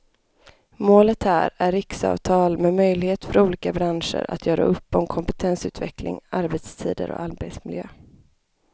Målet här är riksavtal med möjlighet för olika branscher att göra upp om kompetensutveckling, arbetstider och arbetsmiljö.